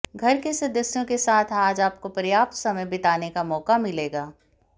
घर के सदस्यों के साथ आज आपको पर्याप्त समय बिताने का मौका मिलेगा